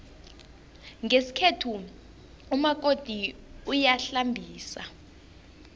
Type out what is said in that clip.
ngesikhethu umakoti uyahlambisa